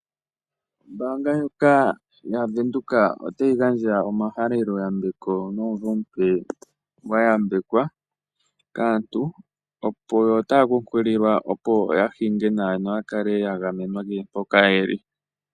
Ombaanga ndjoka yaVenduka otayi gandja omahaleloyambeko nomumvo omupe gwa yambekwa. Aantu otaya kunkililwa, opo ya hinge bawa noya kale ya gamenwa kehe mpoka ye li.